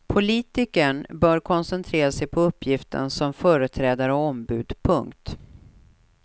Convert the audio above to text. Politikern bör koncentrera sig på uppgiften som företrädare och ombud. punkt